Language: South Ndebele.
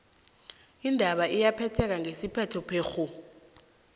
indaba iyaphetheka ngesiphetho phekghu